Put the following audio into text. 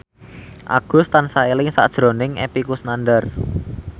Agus tansah eling sakjroning Epy Kusnandar